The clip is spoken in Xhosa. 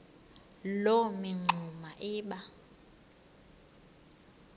loo mingxuma iba